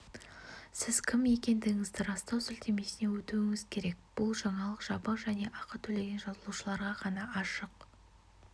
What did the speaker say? сіз кім екендігіңізді растау сілтемесіне өтуіңіз керек бұл жаңалық жабық және ақы төлеген жазылушыларға ғана ашық